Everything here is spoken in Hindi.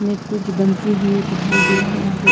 में कुछ बनती हुई दिखाई दे रहा है यहां पे।